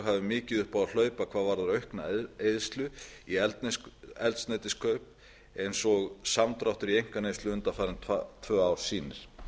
hafi upp á mikið að hlaupa hvað varðar aukna eyðslu í eldsneytiskaup eins og samdráttur í einkaneyslu undanfarin tvö ár sýnir